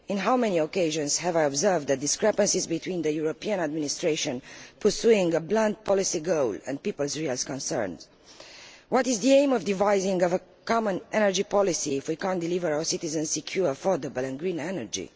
On how many occasions have I observed the discrepancies between the European administration pursuing a blunt policy goal and peoples' real concerns? What is the aim of devising a common energy policy if we cannot deliver our citizens secure, affordable and green energy?